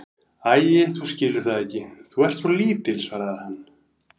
Æi, þú skilur það ekki, þú ert svo lítil, svaraði hann.